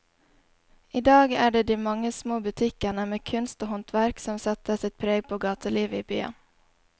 I dag er det de mange små butikkene med kunst og håndverk som setter sitt preg på gatelivet i byen.